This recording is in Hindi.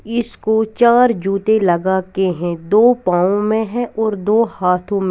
इसको चार जूते लगा के हैं दो पांव में है और दो हाथों में।